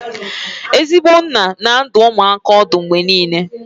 Ezigbo nna na-adụ ụmụaka ọdụ mgbe niile